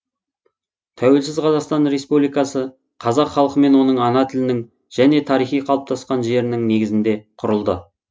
тәуелсіз қазақстан республикасы қазақ халқы мен оның ана тілінің және тарихи қалыптасқан жерінің негізінде құрылды